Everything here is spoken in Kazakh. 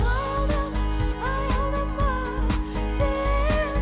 аялдама аялдама сен